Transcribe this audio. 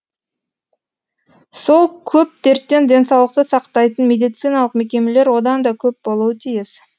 сол көп дерттен денсаулықты сақтайтын медициналық мекемелер одан да көп болуы тиіс